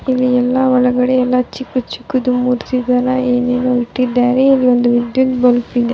ಇಲ್ಲಿ ಎಲ್ಲ ಒಳಗಡೆ ಎಲ್ಲ ಚಿಕ್ ಚಿಕ್ಕದು ಮೂರ್ತಿ ತರ ಏನ್ ಏನೋ ಇಟ್ಟಿದ್ದಾರೆ ಇಲ್ಲಿ ಒಂದು ವಿದ್ಯುತ್ ಬಲ್ಬ್ ಇದೆ .